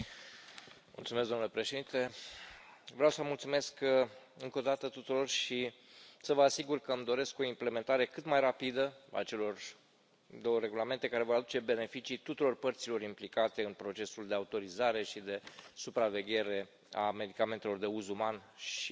Domnule președinte, vreau să mulțumesc încă o dată tuturor și să vă asigur că îmi doresc o implementare cât mai rapidă a celor două regulamente care vor aduce beneficii tuturor părților implicate în procesul de autorizare și de supraveghere a medicamentelor de uz uman și veterinar,